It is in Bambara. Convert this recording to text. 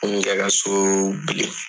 N yɛrɛ ka so bili